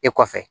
E kɔfɛ